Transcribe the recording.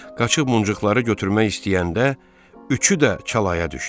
Qaçıb muncuqları götürmək istəyəndə üçü də çalaya düşdü.